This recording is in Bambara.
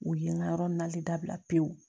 U ye n ka yɔrɔ nalen dabila pewu